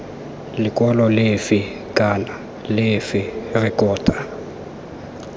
lekwalo lefe kana lefe rekota